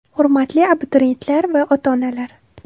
Hurmatli abituriyentlar va ota-onalar !